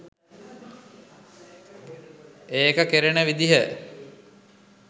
ඒක කෙරෙන විදිහ.